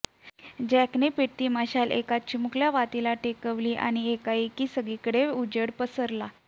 जँकने पेटती मशाल एका निमूळत्या वातीला टेकवली आणी एकाएकी सगळीकडेच ऊजेड पसरला